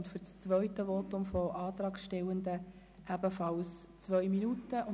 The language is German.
Für ein zweites Votum erhalten die Antragsstellenden ebenfalls 2 Minuten Redezeit.